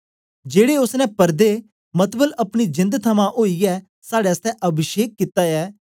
जेड़े ओसने परदे मतलब अपनी जेंद थमां ओईयै साड़े आसतै अभिषेक कित्ता ऐ